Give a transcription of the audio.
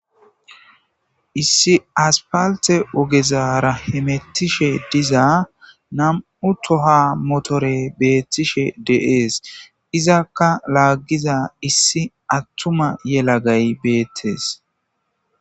issi aspalte ogezara hemettishe diza nam7u toha motore beettishe de7ees izakka laaggiza issi attuma yelagay beettes